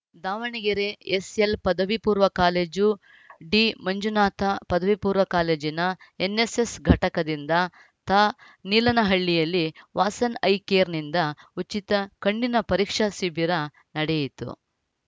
Davanagere S L ಪದವಿ ಪೂರ್ಣ college ಡಿಮಂಜುನಾಥ ಪದವಿ ಪೂರ್ಣ ಕಾಲೇಜಿನ ಎನ್ನೆಸ್ಸೆಸ್‌ ಘಟಕದಿಂದ ತಾ ನೀಲಾನಹಳ್ಳಿಯಲ್ಲಿ ವಾಸನ್‌ ಐ ಕೇರ್‌ನಿಂದ ಉಚಿತ ಕಣ್ಣಿನ ಪರೀಕ್ಷಾ ಶಿಬಿರ ನಡೆಯಿತು